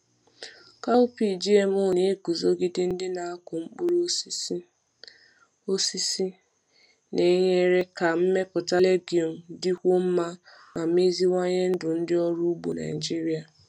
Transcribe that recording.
Cowpea GMO na-eguzogide ndị na-akụ mkpụrụ osisi, osisi, na-enyere ka mmepụta legume dịkwuo mma ma meziwanye ndụ ndị ọrụ ugbo Naijiria.